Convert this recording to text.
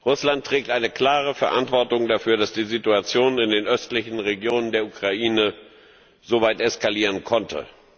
Russland trägt eine klare Verantwortung dafür, dass die Situation in den östlichen Regionen der Ukraine so weit eskalieren konnte.